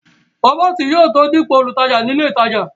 rọ́bọ̀tì yóò tó dípò olùtajà ní ilé ìtajà